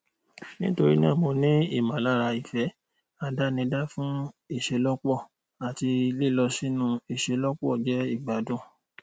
nítorí náà mo ní ìmọlára ìfẹ àdánidá fún ìṣelọpọ àti lílọ sínú ìṣelọpọ jẹ ìgbádùn